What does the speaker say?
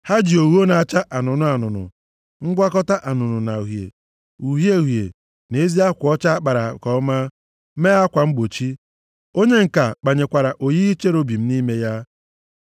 Ha ji ogho na-acha anụnụ anụnụ, ngwakọta anụnụ na uhie, uhie uhie na ezi akwa ọcha a kpara nke ọma mee akwa mgbochi. Onye ǹka kpanyekwara oyiyi cherubim nʼime ya.